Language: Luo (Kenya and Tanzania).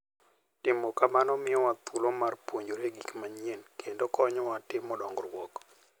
Timo kamano miyowa thuolo mar puonjore gik manyien kendo konyowa timo dongruok.